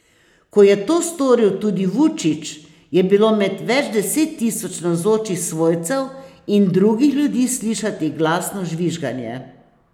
Ko je to storil tudi Vučić, je bilo med več deset tisoč navzočih svojcev in drugih ljudi slišati glasno žvižganje.